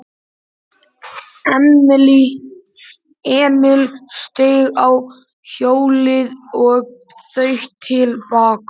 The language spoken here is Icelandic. Emil steig á hjólið og þaut til baka.